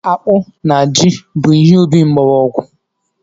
Akpụ na Jị bụ ihe ubi mkpọrọogwu.